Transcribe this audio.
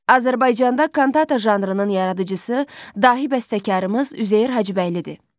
Azərbaycanda kantata janrının yaradıcısı dahi bəstəkarımız Üzeyir Hacıbəylidir.